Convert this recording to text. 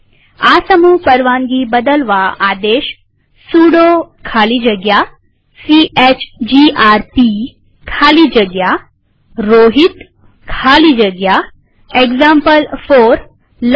આ સમૂહ પરવાનગી બદલવાઆદેશ સુડો ખાલી જગ્યા સીએચજીઆરપી ખાલી જગ્યા રોહિત ખાલી જગ્યા એક્ઝામ્પલ4 લખીએ